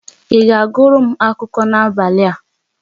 Ị ga-agụrụ m akụkọ n'abalị a?